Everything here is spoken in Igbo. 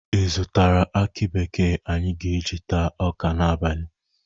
Ị zụtara aki bekee anyị ga-eji taa ọka n'abalị?